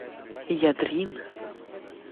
ядрин